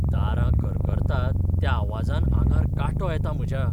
दारां करकरतात त्या आवाजान आंगार कांटो येता म्हज्या.